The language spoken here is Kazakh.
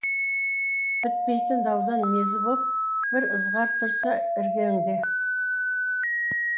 бітпейтін даудан мезі боп бір ызғар тұрса іргеңде